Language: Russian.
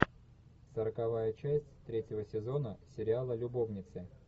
сороковая часть третьего сезона сериала любовницы